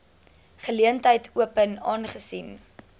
geleentheid open aangesien